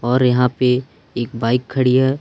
और यहां पे एक बाइक खड़ी है।